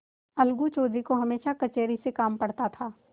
अलगू चौधरी को हमेशा कचहरी से काम पड़ता था